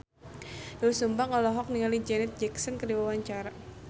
Doel Sumbang olohok ningali Janet Jackson keur diwawancara